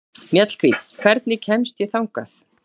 Mjallhvít, hvernig kemst ég þangað?